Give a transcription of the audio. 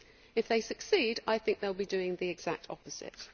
If they succeed, I think they will be doing the exact opposite.